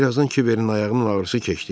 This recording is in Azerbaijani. Bir azdan Kiverin ayağının ağrısı keçdi.